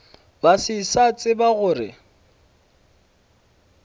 ba se sa tseba gore